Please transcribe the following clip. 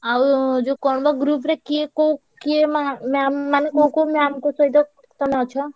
ଆଉ ଯୋଉ କଣ ବା group ରେ କିଏ କୋଉ କିଏ ମା ma'am ମାନେ ma'am ଙ୍କ ସହିତ କଣ ଅଛ?